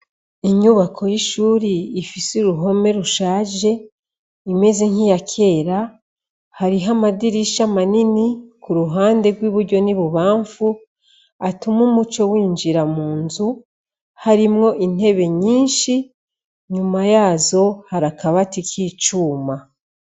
Inyubako y'ishuri ifise uruhome rushaje imeze nk'iya kera, hariho amadirisha manini ku ruhande rw'iburyo n'ibubamfu atuma umuco winjira mu nzu harimwo intebe nyinshi, nyuma yazo hari akabati k'icuma.